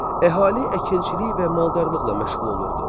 Əhali əkinçilik və maldarlıqla məşğul olurdu.